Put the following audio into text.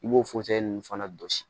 I b'o ninnu fana jɔsi